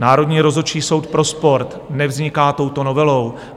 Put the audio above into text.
Národní rozhodčí soud pro sport nevzniká touto novelou.